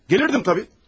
Gələrdin təbii.